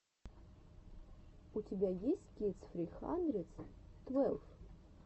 у тебя есть кидс фри хандридс твелв